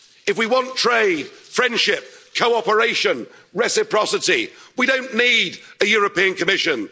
If we want trade, friendship, cooperation, reciprocity, we don't need a European Commission.